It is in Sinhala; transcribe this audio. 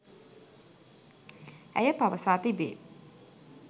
ඇය පවසා තිබේ.